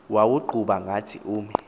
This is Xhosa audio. uwuqhuba ngathi umi